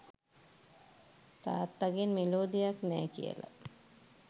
තාත්තගෙන් මෙලෝ දෙයක් නෑ කියලා.